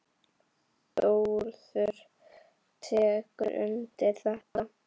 Þórður tekur undir þetta.